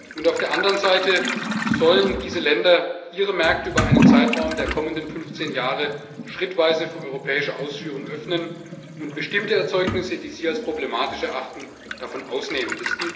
Und auf der anderen Seite sollen diese Länder ihre Märkte über einen Zeitraum der kommenden 15 Jahre schrittweise für europäische Ausfuhren öffnen und bestimmte Erzeugnisse, die sie als problematisch erachten, davon ausnehmen.